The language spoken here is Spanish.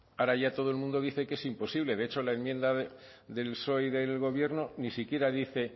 ahora ya todo el mundo dice que es imposible de hecho la enmienda del psoe y del gobierno ni siquiera dice